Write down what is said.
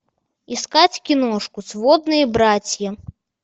искать киношку сводные братья